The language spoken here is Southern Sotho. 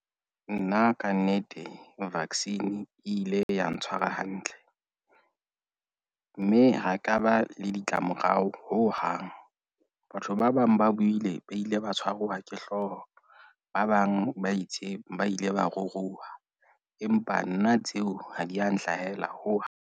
Nna kannete vaccine e ile ya ntshwara hantle, mme ha ekaba le ditlamorao hohang. Batho ba bang ba buile ba ile ba tshwarwa ke hlooho. Ba bang ba itse ba ile ba ruruha, empa nna tseo ha di ya nhlahella hohang.